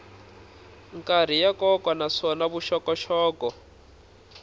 karhi ya nkoka naswona vuxokoxoko